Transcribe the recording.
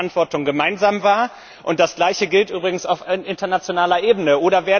Wir nehmen Verantwortung gemeinsam wahr. Das Gleiche gilt übrigens auf internationaler Ebene.